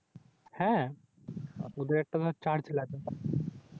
হ্যাঁ ওদের একটা Charge লাগে।